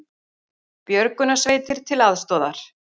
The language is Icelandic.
Björgunarsveitir til aðstoðar